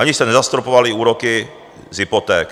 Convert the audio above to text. Ani jste nezastropovali úroky z hypoték.